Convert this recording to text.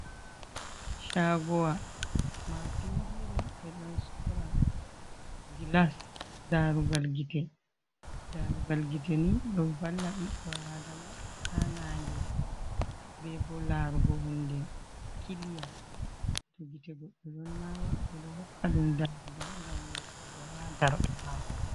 Shagowa mapindire be don sora gilas, darugal gite nidon valla biddo adama ha nange be bo larugo hunde kiliya to gitego be don nawa be do hokka dum darrugal ngam wardugo ha darde mako.